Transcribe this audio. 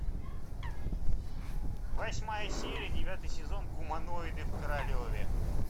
восьмая серия девятый сезон гуманоиды в королеве